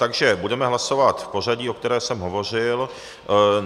Takže budeme hlasovat v pořadí, o kterém jsem hovořil.